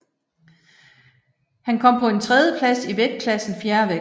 Han kom på en tredjeplads i vægtklassen fjervægt